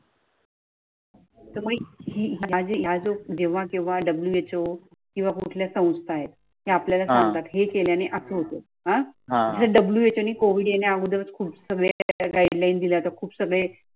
तुम्ही माझी आजच जेव्हा केव्हा who किंवा कुठल्या संस्था आहे, ते आपल्याला सांगत हे केल्याने अस होते अह who कोविड येण्याअगोदरच खूप सगळे त्याच्या गाइडलाइन दिली आता खूप सगळे.